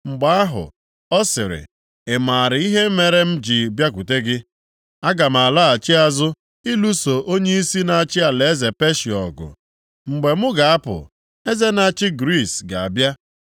Mgbe ahụ, ọ sịrị, “Ị maara ihe mere m ji bịakwute gị? Aga m alaghachi azụ ịlụso onyeisi na-achị alaeze Peshịa ọgụ, mgbe mụ ga-apụ, eze na-achị Griis ga-abịa;